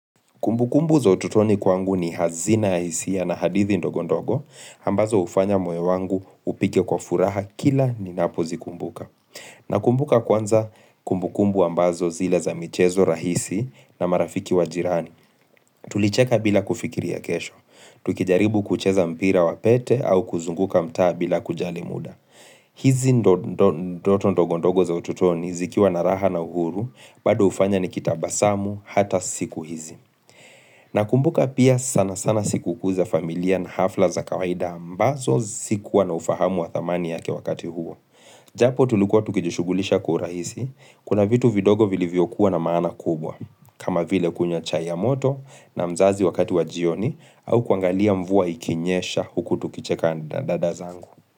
Kumbukumbu za ututoni kwangu ni hazina ya hisia na hadithi ndogondogo, ambazo ufanya moyo wangu upike kwa furaha kila ninapozikumbuka. Nakumbuka kwanza kumbukumbu ambazo zile za michezo rahisi na marafiki wajirani. Tulicheka bila kufikiria kesho, tukijaribu kucheza mpira wa pete au kuzunguka mtaa bila kujali muda. Hizi ndio ndoto ndogondogo za ututoni zikiwa na raha na uhuru, bado ufanya nikitabasamu hata siku hizi. Nakumbuka pia sana sana siku kuu za familia na hafla za kawaida ambazo sikuwa na ufahamu wa thamani yake wakati huo Japo tulikuwa tukijishugulisha kwa urahisi, kuna vitu vidogo vilivyo kuwa na maana kubwa kama vile kunywa chai ya moto na mzazi wakati wa jioni au kuangalia mvua ikinyesha huku tukicheka dada zangu.